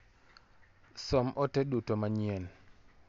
Som ote duto manyien .